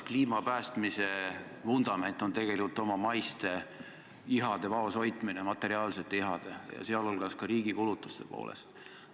Kliima päästmise vundament on tegelikult oma maiste ihade vaoshoidmine, sh materiaalsete ihade vaoshoidmine, ja seda ka riigi kulutuste osas.